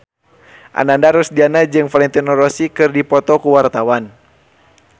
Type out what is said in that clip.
Ananda Rusdiana jeung Valentino Rossi keur dipoto ku wartawan